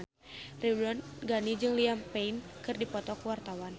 Ridwan Ghani jeung Liam Payne keur dipoto ku wartawan